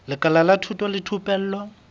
lekala la thuto le thupelo